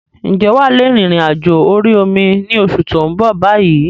Ǹjẹ́ wà lè rìn-ìrìn àjò orí omi ni oṣù tó ń bọ̀ bayyi?